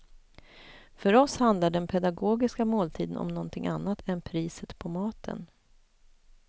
För oss handlar den pedagogiska måltiden om någonting annat än priset på maten.